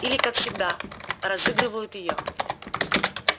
или как всегда разыгрывают её